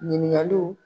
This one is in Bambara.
Ɲininkaliw